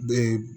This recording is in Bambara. Be